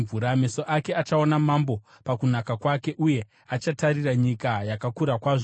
Meso ako achaona mambo pakunaka kwake; uye achatarira nyika yakakura kwazvo.